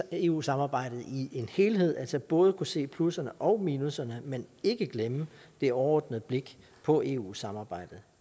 eu samarbejdet i en helhed altså både kunne se plusserne og minusserne men ikke glemme det overordnede blik på eu samarbejdet